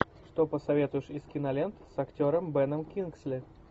что посоветуешь из кинолент с актером беном кингсли